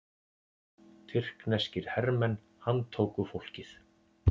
Tyrkneskir hermenn handtóku fólkið